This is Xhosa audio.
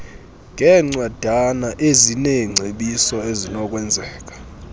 ngeencwadana ezineengcebiso ezinokwenzeka